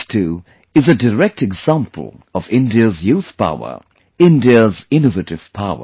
This too, is a direct example of India's youth power; India's innovative power